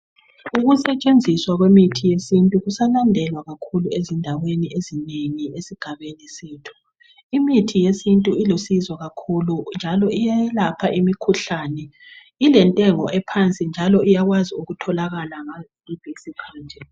Ukusentshenziswa kwemithi yesintu kusalandelwa kakhulu ezindaweni ezinengi esigabeni sethu. Imithi yesintu ilusizo kakhulu njalo iyayelapha imikhuhlane, ilentengo ephansi njalo iyakwazi ukutholakala ngasiphi isikhathi.